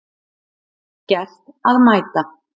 Gert að mæta